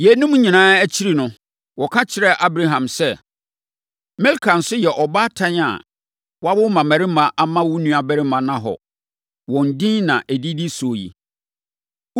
Yeinom nyinaa akyiri no, wɔka kyerɛɛ Abraham sɛ, “Milka nso yɛ ɔbaatan a wawo mmammarima ama wo nuabarima Nahor. Wɔn din na ɛdidi so yi: